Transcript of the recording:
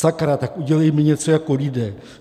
Sakra, tak udělejme něco jako lidé!